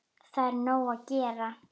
Það er nóg að gera.